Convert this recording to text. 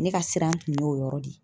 Ne ka siran tun y'o yɔrɔ de ye.